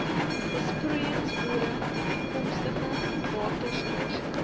besproeiingsboere toekomstige waterskaarste